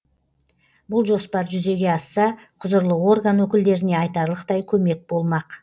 бұл жоспар жүзеге асса құзырлы орган өкілдеріне айтарлықтай көмек болмақ